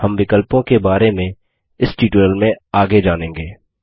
हम विकल्पों के बारे इस ट्यूटोरियल में आगे जानेंगे